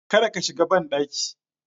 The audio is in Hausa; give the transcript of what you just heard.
Kada ka shiga banɗaki